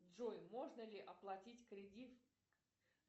джой можно ли оплатить кредит